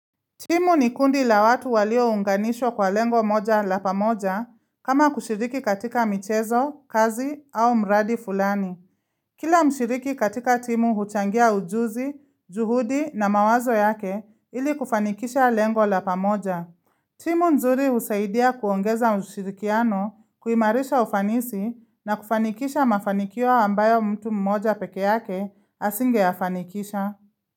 Timu ni kundi la watu walio unganisho kwa lengo moja la pamoja kama kushiriki katika michezo, kazi au mradi fulani. Kila mshiriki katika timu huchangia ujuzi, juhudi na mawazo yake ili kufanikisha lengo la pamoja. Timu nzuri husaidia kuongeza mshirikiano, kuimarisha ufanisi na kufanikisha mafanikio wa ambayo mtu mmoja peke yake asinge yafanikisha.